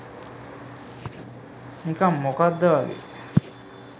නිකං මොකද්ද වගේ.